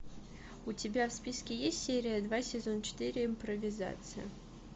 у тебя в списке есть серия два сезон четыре импровизация